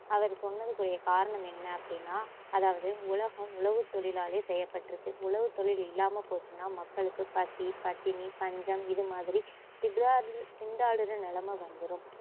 அவரு சொன்னதுக்குரிய காரணம் என்ன அப்படின்னா அதாவது உலகம் உழவுத்தொழிலாலே செய்யப்பட்டுருக்கு உழவுத்தொழில் இல்லாம போச்சுன்னா மக்களுக்கு பசி, பட்டினி, பஞ்சம் இதுமாதிரி திட்டாற்~ திண்டாடுற நிலைமை வந்துரும்